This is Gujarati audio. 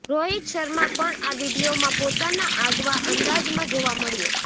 રોહિત શર્મા પણ આ વીડિયોમાં પોતાના આગવા અંદાજમાં જોવા મળ્યો